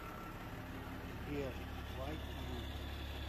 сбер вайт ю